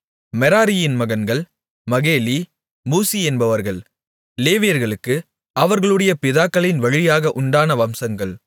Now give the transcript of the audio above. மெராரியின் மகன்கள் மகேலி மூசி என்பவர்கள் லேவியர்களுக்கு அவர்களுடைய பிதாக்களின் வழியாக உண்டான வம்சங்கள்